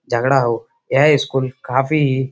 झगड़ा हो। यह स्कूल काफी--